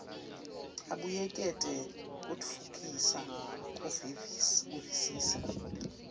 abuyekete kutfutfukisa kuvisisa